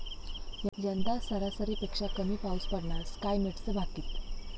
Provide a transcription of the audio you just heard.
यंदा सरासरीपेक्षा कमी पाऊस पडणार, स्कायमेटचं भाकित